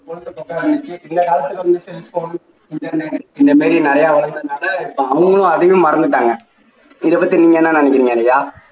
இந்த மாதிரி நிறைய வருவதுனாலே இப்போ அவங்களும் அதையும் மறந்துட்டாங்க இதை பத்தி நீங்க என்ன நினைக்குறீங்க ரியா